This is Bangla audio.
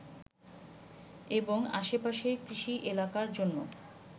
এবং আশেপাশের কৃষি এলাকার জন্য